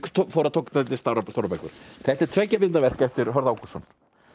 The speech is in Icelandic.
tók dálítið stórar bækur þetta er tveggja bind verk eftir Hörð Ágústsson